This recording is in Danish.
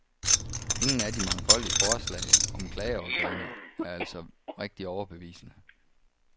Ingen af de mangfoldige forslag om klageorganer er altså rigtig overbevisende.